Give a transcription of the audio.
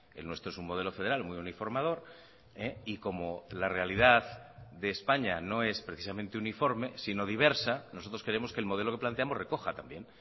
el nuestro es un modelo federal muy uniformador y como la realidad de españa no es precisamente uniforme sino diversa nosotros queremos que el modelo que planteamos recoja también